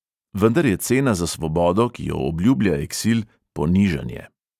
Vendar je cena za svobodo, ki jo obljublja eksil, ponižanje.